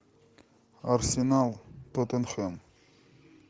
арсенал тоттенхэм